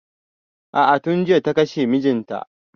A'a tun jiya da kashe mijin ta